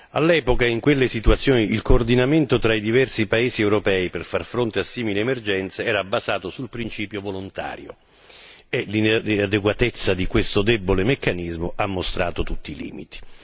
All'epoca in quelle situazioni, il coordinamento tra i diversi paesi europei per far fronte a simili emergenze era basato sul principio volontario e l'inadeguatezza di questo meccanismo ha mostrato tutti i suo limiti.